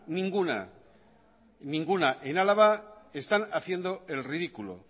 ninguna en álava están haciendo el ridículo